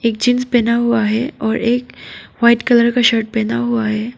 एक जींस पहना हुआ है और एक वाइट कलर का शर्ट पहना हुआ है।